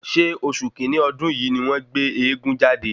Ṣé oṣù kínní ọdún yìí ni wọ́n gbé eégún jáde?